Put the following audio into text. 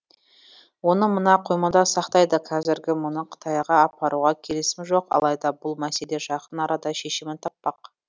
оны мына қоймада сақтайды қазірге мұны қытайға апаруға келісім жоқ алайда бұл мәселе жақын арада шешімін таппақ